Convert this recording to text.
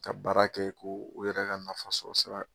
Ka baara kɛ ko u yɛrɛ ka nafa sɔrɔ sira